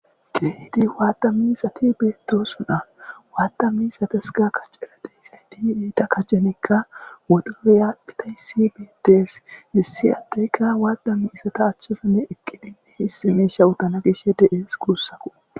Keehidii wadda miizzatti bettossonna wadda miizzattikka kaccera de'izaytti eetta kacenikka woodoroy adhdhidayssi bettes issi addeykka wadda miizzata achchanikka eeqiddi issi mishsha uuganaw de'es guussakko